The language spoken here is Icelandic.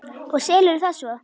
Og selurðu það svo?